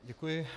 Děkuji.